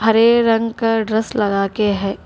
तीन रंग का ड्रेस लगा के है।